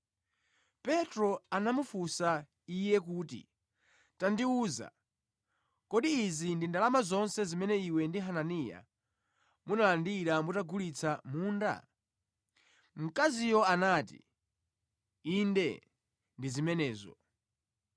Petro anamufunsa iye kuti, “Tandiwuza, kodi izi ndi ndalama zonse zimene iwe ndi Hananiya munalandira mutagulitsa munda?” Mkaziyo anati, “Inde ndi zimenezo.”